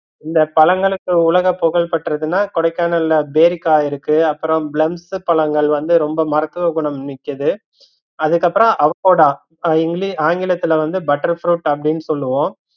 இந்த பழங்களுக்கு உலக புகழ் பெற்றதுனா கொடைக்கானல்ல பேரிக்காய் இருக்கு அப்பறம் பிலம்ஸ் பழங்கள் வந்து ரொம்ப மருத்துவ குணம் மிக்கது அதுக்கப்றம் அவகோடா ஆங்கிலத்துல வந்து butter fruit அப்படின்னு சொல்லுவோம்